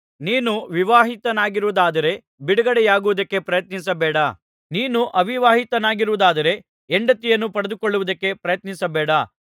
ನೀನು ವಿವಾಹಿತನಾಗಿರುವುದಾದರೆ ಬಿಡುಗಡೆಯಾಗುವುದಕ್ಕೆ ಪ್ರಯತ್ನಿಸಬೇಡ ನೀನು ಅವಿವಾಹಿತನಾಗಿರುವುದಾದರೆ ಹೆಂಡತಿಯನ್ನು ಪಡೆದುಕೊಳ್ಳುವುದಕ್ಕೆ ಪ್ರಯತ್ನಿಸಬೇಡ